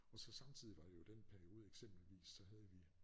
Og så samtidig var jo den periode eksempelvis så havde vi